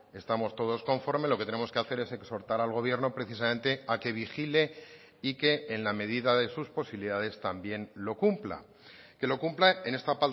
estamos todos conforme lo que tenemos que hacer es exhortar al gobierno precisamente a que vigile y que en la medida de sus posibilidades también lo cumpla que lo cumpla en esta